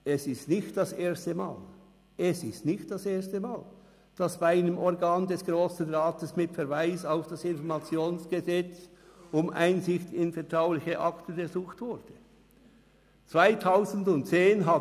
Es ist nicht das erste Mal, dass bei einem Organ des Grossen Rats mit Verweis auf das Gesetz über die Information der Bevölkerung (Informationsgesetz, IG) um Einsicht in vertrauliche Akten ersucht worden ist.